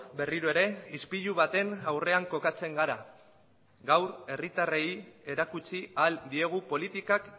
berriro ere ispilu baten aurrean kokatzen gara gaur herritarrei erakutsi ahal diegu politikak